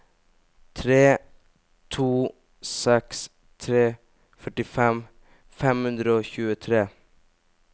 tre to seks tre førtifem fem hundre og tjuetre